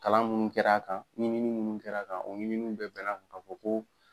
Kalan minnu kɛra a kan, ɲɛɲi ni munnu kɛra a kan, o ɲinin bɛɛ bɛna kan ka fɔ ko.